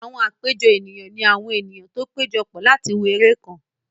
Àwọn àpéjọ ènìyàn ní àwọn èèyàn tó pẹ́jọ pọ̀ láti wo eré kan